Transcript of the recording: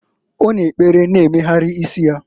Ọ na-ekpere na-emegharị isi ya.